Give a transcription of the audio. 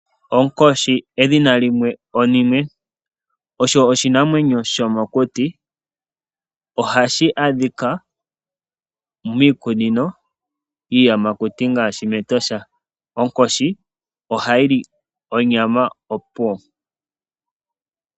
Onkoshi edhina limwe onime osho oshinamwemyo shomokuti. Ohashi adhika miikunino yiiyamakuti ngaashi Etosha. Onkoshi ohayi li onyama opuwo.